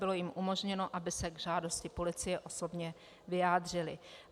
Bylo jim umožněno, aby se k žádosti policie osobně vyjádřili.